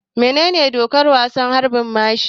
Menene dokar wasan harbin mashi?